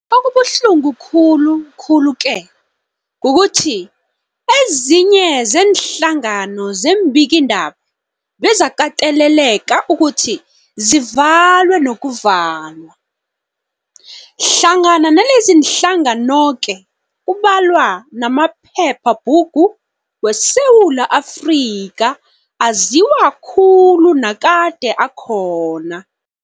Okubuhlungu khulu khulu-ke kukuthi ezinye zeenhlangano zeembikiindaba bezakateleleka ukuthi zivalwe nokuvalwa, hlangana naleziinhlanganoke kubalwa namaphepha bhugu weSewula Afrika aziwa khulu nakade akhona.